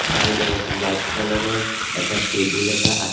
side ত white colour ৰ এটা টেবুল এটা আছ--